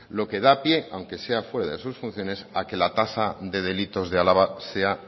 lo que da pie aunque sea fuera de sus funciones a que la tasa de delitos de álava sea